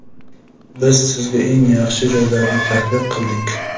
biz sizga eng yaxshi joylarni taklif qildik.